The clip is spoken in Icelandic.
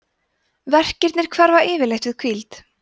verkirnir hverfa yfirleitt við hvíld